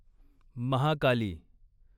Mahakali